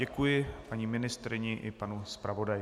Děkuji paní ministryni i panu zpravodaji.